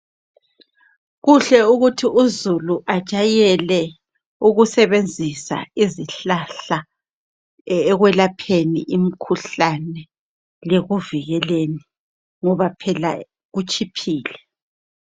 Kuhle ukuthi uzulu ajayele ukusebenzisa izihlahla ekwelapheni imkhuhlane lekuvikeleni ngoba phela kutshiphile.